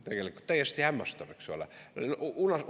Tegelikult täiesti hämmastav, eks ole?